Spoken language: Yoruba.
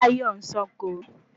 Tayo ń sànko